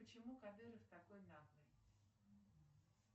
почему кадыров такой наглый